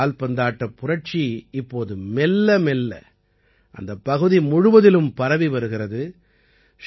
இந்த கால்பந்தாட்டப் புரட்சி இப்போது மெல்லமெல்ல அந்தப் பகுதி முழுவதிலும் பரவி வருகிறது